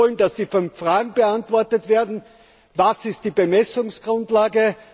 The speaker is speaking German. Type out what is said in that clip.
Wir wollen, dass die fünf Fragen beantwortet werden Was ist die Bemessungsgrundlage?